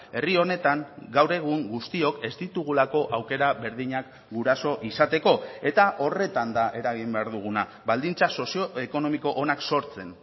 herri honetan gaur egun guztiok ez ditugulako aukera berdinak guraso izateko eta horretan da eragin behar duguna baldintza sozioekonomiko onak sortzen